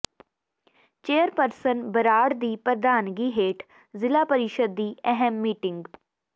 chairperson Brar ਦੀ ਪ੍ਰਧਾਨਗੀ ਹੇਠ ਜ਼ਿਲ੍ਹਾ ਪ੍ਰੀਸ਼ਦ ਦੀ ਅਹਿਮ ਮੀਟਿੰਗ